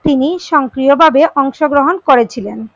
তিনি সংক্রিয়ভাবে অংশগ্রহন করে ছিলেন।